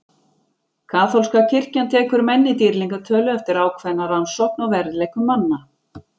Kaþólska kirkjan tekur menn í dýrlingatölu eftir ákveðna rannsókn á verðleikum manna.